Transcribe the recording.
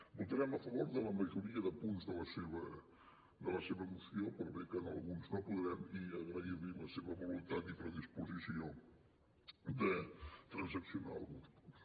votarem a favor de la majoria de punts de la seva moció per bé que en alguns no podrem i agrair li la seva voluntat i predisposició de transaccionar alguns punts